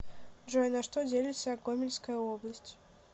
джой на что делится гомельская область